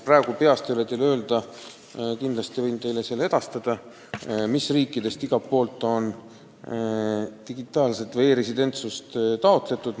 Ma ei oska teile praegu peast öelda , mis riikidest on digitaalset isikutunnistust või e-residentsust taotletud.